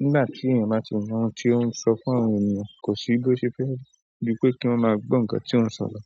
Nígbà tí èèyàn bá ti mọ ohun tí ó ń sọ fún àwọn ènìyàn, kò sí bí ó ṣe fẹ́, bí pé kí wọ́n máa gbọ́ ǹkan tí ó ń sọ lọ.